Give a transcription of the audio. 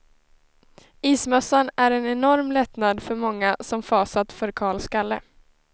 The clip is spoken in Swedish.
Ismössan är en enorm lättnad för många som fasat för kal skalle.